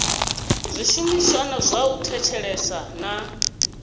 zwishumiswa zwa u thetshelesa na